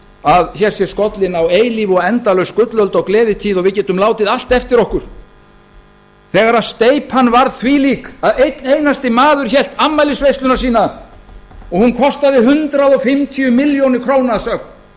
að hér sé skollin á eilíf og endalaus gullöld og gleðitíð og við getum látið allt eftir okkur þegar steypan var þvílík að einn einasti maður hélt afmælisveisluna sína og hún kostaði hundrað fimmtíu milljónir króna að sögn